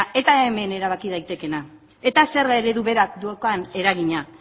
eta hemen erabaki daitekeena eta zerga eredu berak daukan eragina